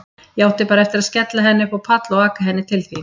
Ég átti bara eftir að skella henni upp á pall og aka henni til þín.